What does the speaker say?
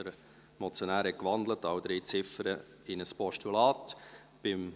Der Motionär hat alle drei Ziffern in ein Postulat gewandelt.